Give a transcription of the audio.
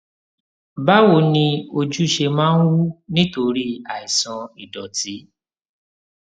báwo ni ojú ṣe máa ń wú nítorí àìsàn ìdòtí